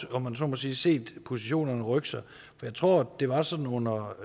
om man så må sige set positionerne rykke sig for jeg tror det var sådan under